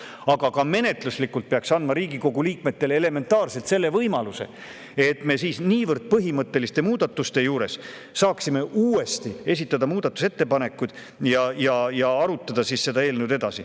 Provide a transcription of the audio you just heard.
Aga ka menetluslikult peaks andma Riigikogu liikmetele elementaarse võimaluse, et me niivõrd põhimõtteliste muudatuste juures saaksime uuesti esitada muudatusettepanekuid ja eelnõu edasi arutada.